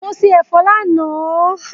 Mo se ẹ̀fọ́ lánàá